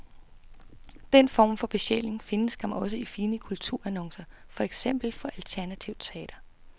Den form for besjæling findes skam også i fine kulturannoncer, for eksempel for alternativt teater.